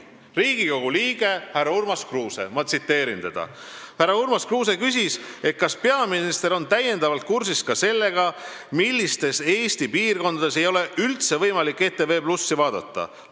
Ma tsiteerin Riigikogu liiget härra Urmas Kruuset, kes küsis nii: "Kas peaminister on täiendavalt kursis ka sellega, millistes Eesti piirkondades ei ole üldse võimalik ETV+ vaadata?